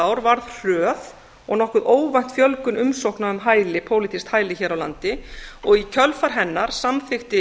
árs var hröð og nokkuð óvænt fjölgun umsókna um pólitískt hæli hér á landi og í kjölfar hennar samþykkti